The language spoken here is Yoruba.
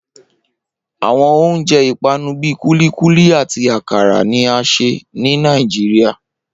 Awọn ounjẹ ipanu bii kulikuli ati akara ni a ṣe ni Níajírìà